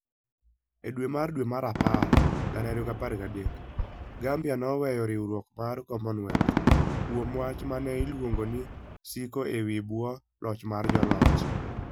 E dwe mar dwe mar apar 2013, Gambia noweyo riwruok mar Commonwealth kuom wach ma ne oluongo ni "siko e bwo loch mar joloch".